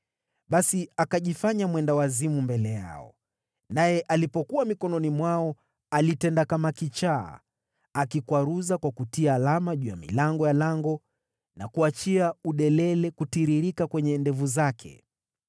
Basi akajifanya mwendawazimu mbele yao; naye alipokuwa mikononi mwao, alitenda kama kichaa, akikwaruza kwa kutia alama juu ya milango ya lango na kuachia udelele kutiririka kwenye ndevu zake.